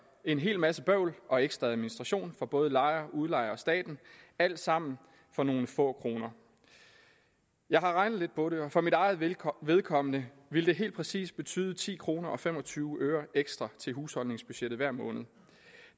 en hel masse bøvl og ekstra administration for både lejer udlejer og staten alt sammen for nogle få kroner jeg har regnet lidt på det og for mit eget vedkommende vedkommende ville det helt præcis betyde ti kroner og fem og tyve øre ekstra til husholdningsbudgettet hver måned